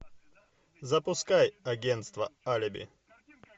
запускай агенство алиби